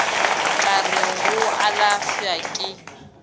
ka re go alafša ke